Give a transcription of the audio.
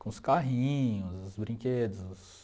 Com os carrinhos, os brinquedos.